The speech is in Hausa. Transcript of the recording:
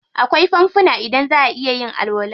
Akwai fanfuna inda zaʼa iya yin alwala.